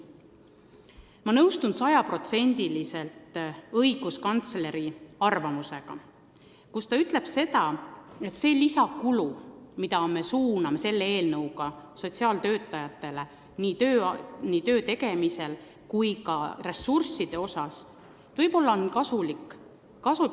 Ma nõustun sajaprotsendiliselt õiguskantsleri arvamusega, et lisaraha, mille me suuname selle eelnõuga sotsiaaltöötajatele nende töö tegemiseks, võiks hoopis suunata ennetustegevusse.